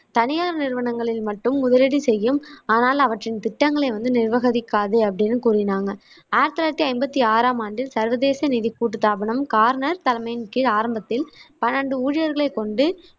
தனியார் நிறுவனங்களில் மட்டும் முதலீடு செய்யும் ஆனால் அவற்றின் திட்டங்களை நிர்வகிக்காது அப்படின்னு கூறினாங்க ஆயிரத்தி தொள்ளாயிரத்தி ஐம்பத்தி ஆறாம் ஆண்டில் சர்வதேச நிதி கூட்டுத்தாபனம் கார்னர் தலைமையின் கீழ் ஆரம்பத்தில் பன்னெண்டு ஊழியர்களை கொண்டு